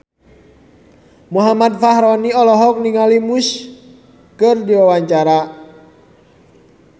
Muhammad Fachroni olohok ningali Muse keur diwawancara